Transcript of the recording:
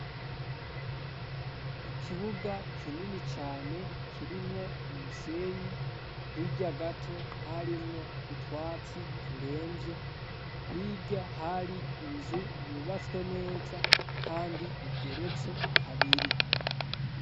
ikibuga kinini cane rimwo umusenyi hirya gato harimwo utwatsi turembye hirya hari inzu yubatswe neza kandi igeretse kabiri